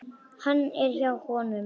Hann er hjá honum.